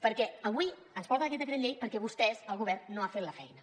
perquè avui ens porten aquest decret llei perquè vostès el govern no ha fet la feina